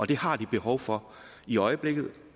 den har de behov for i øjeblikket